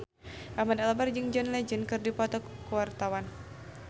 Ahmad Albar jeung John Legend keur dipoto ku wartawan